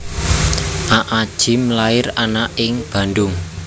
Aa Gym lair ana ing Bandung